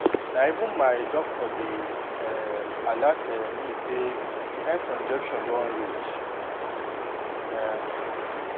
na even my doctor dey help um alert um me say time for injection don reach um